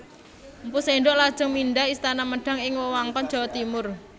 Mpu Sindok lajeng mindhah istana Medang ing wewengkon Jawa Timur